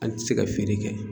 An ti se ka feere kɛ.